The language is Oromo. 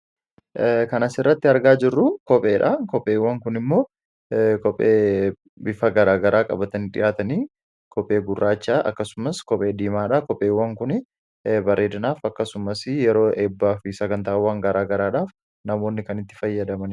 kanasirratti argaa jirru kopheedha kopheewwan kun immoo kophee bifa garaa garaa qabatan dhihaatanii kophee gurraachaa akkasumas kophee diimaadhaa kopheewwan kun bareedanaaf akkasumas yeroo eebbaa fi sagantaawwan garaa garaadhaaf namoonni kanitti fayyadaman